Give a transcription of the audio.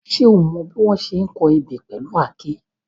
Ṣé o mọ bí wọ́n ṣe ń kọ ebè pẹ̀lú àáké?